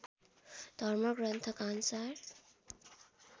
धर्म ग्रन्थका अनुसार